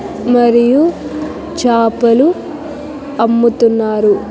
మరియు చాపలు అమ్ముతున్నారు.